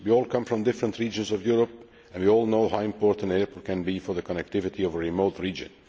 We all come from different regions of Europe and we all know how important airports can be for the connectivity of a remote